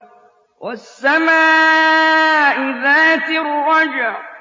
وَالسَّمَاءِ ذَاتِ الرَّجْعِ